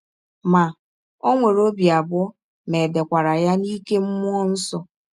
Ma, ọ nwere ọbi abụọ ma è dekwara ya n’ike mmụọ nsọ.